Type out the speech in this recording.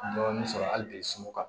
Dɔɔnin sɔrɔ hali bi sunɔgɔ kan